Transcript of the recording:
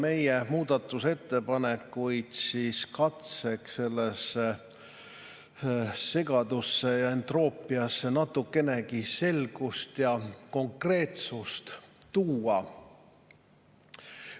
Meie muudatusettepanekud on katse sellesse segadusse ja entroopiasse natukenegi selgust ja konkreetsust tuua.